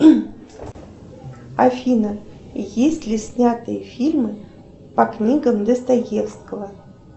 афина есть ли снятые фильмы по книгам достоевского